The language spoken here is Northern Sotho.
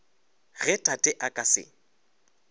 ge tate a ka se